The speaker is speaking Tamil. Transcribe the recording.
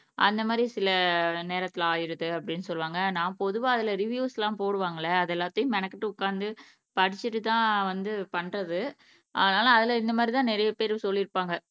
அந்த மாதிரி சில நேரத்துல ஆகிருது அப்படின்னு சொல்லுவாங்க நான் பொதுவா அதுல ரிவ்யூஸ்லாம் போடுவாங்கல அது எல்லாத்தையும் மெனக்கட்டு உக்காந்து படிச்சுட்டு தான் வந்து பண்றது அதுனால அதுல இந்த மாதிரி தான் நிறைய பேர் சொல்லிருப்பாங்க